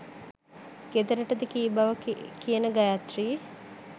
ගෙදරටද කී බව කියන ගයාත්‍රී